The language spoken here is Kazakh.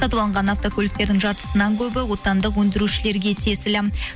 сатып алынған автокөліктердің жартысынан көбі отандық өндірушілерге тиесілі